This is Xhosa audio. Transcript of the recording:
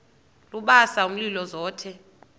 lubasa umlilo zothe